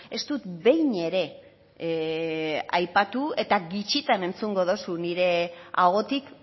ez dut behin ere aipatu eta gutxitan entzungo duzu nire ahotik